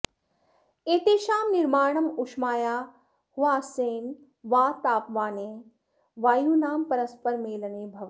एतेषां निर्माणम् उष्मायाः ह्रासेन वा तापमाने वायूनां परस्परमेलने भवति